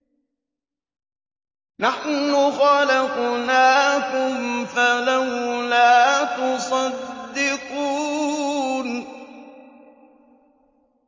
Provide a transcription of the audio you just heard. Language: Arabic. نَحْنُ خَلَقْنَاكُمْ فَلَوْلَا تُصَدِّقُونَ